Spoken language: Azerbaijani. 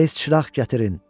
Tez çıraq gətirin.